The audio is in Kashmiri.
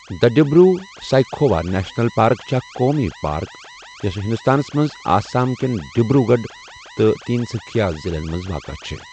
دڈِبروٗ سایکھووا نیشنَل پارٕک چھےٚ اَکھ قومی پارٕک یۄسہٕ ہِنٛدُستانس منٛز آسام کیٚن ڈِبروٗ گَڑھ تہٕ تین سٗكھیا ضِلعن منٛز واقع چھےٚ